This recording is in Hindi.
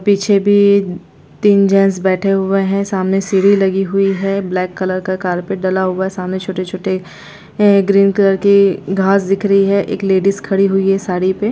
पीछे भी तीन जेंट्स बैठे हुए है सामने सीढ़ी लगी हुई है ब्लैक कलर का कारपेट डाला हुआ है सामने छोटे-छोटे ग्रीन कलर के घास दिख रही है एक लेडिस खड़ी हुई है साड़ी पे--